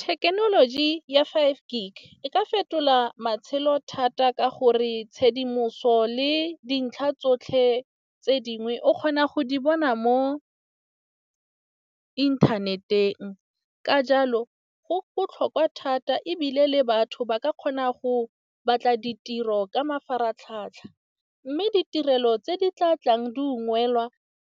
Thekenoloji ya five gig e ka fetola matshelo thata ka gore tshedimoso le dintlha tsotlhe tse dingwe o kgona go di bona mo inthaneteng. Ka jalo go botlhokwa thata ebile le batho ba ka kgona go batla ditiro ka mafaratlhatlha. Mme ditirelo tse di tla tlang di ungwelwa,